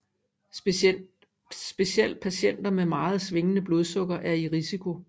Specielt patienter med meget svingende blodsukker er i risiko